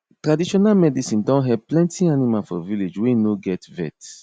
traditional medicine don help plenty animal for village wey no get vet